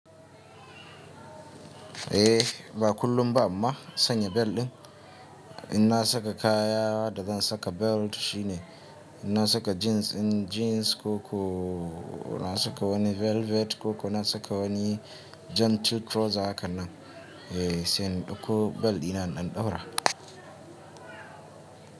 Eh! Ba kullum ba amma sanya bel ɗin inna saka kayan da zan saka belt shine ina saka jeans ko ina saka wani velvet ko ina saka wani gentle trouser haka nan sai in ɗauko bel ina ɗan ɗaura.